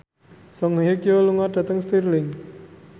Song Hye Kyo lunga dhateng Stirling